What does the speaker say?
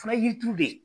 Fana ye yiri turu de ye